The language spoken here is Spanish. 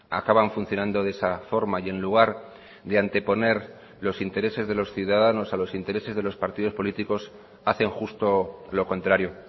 acaban funcionando de esa forma y en lugar de anteponer los intereses de los ciudadanos a los intereses de los partidos políticos hacen justo lo contrario